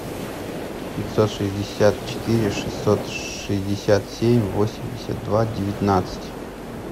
пятьсот шестьдесят четыре шестьсот шестьдесят семь восемьдесят два девятнадцать